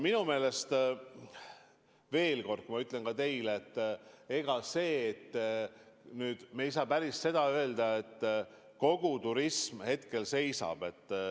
Minu meelest, ma ütlen teile veel kord: ega me ei saa öelda, et kogu turism hetkel seisab.